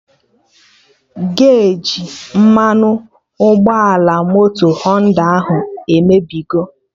Geji mmanụ ụgbọala moto Họnda ahụ emebigo